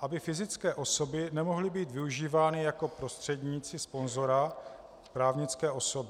aby fyzické osoby nemohly být využívány jako prostředníci sponzora - právnické osoby.